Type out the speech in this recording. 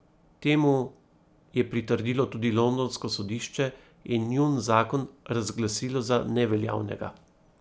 Temu je pritrdilo tudi londonsko sodišče in njun zakon razglasilo za neveljavnega.